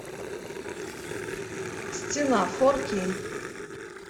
стена фор кей